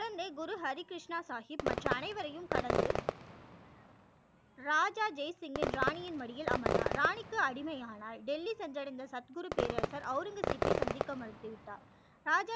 குழந்தை குரு ஹரி கிருஷ்ணா சாகிப் மற்ற அனைவரையும் கடந்து ராஜா ஜெய் சிங் ன் ராணி யின் மடியில் அமர்ந்தான் ராணி க்கு அடிமை ஆனார் டெல்லி சென்று அடைந்த சத் குரு பேரரசர் ஔரங்கசிப் பை சந்திக்க மறுத்து விட்டார் ராஜா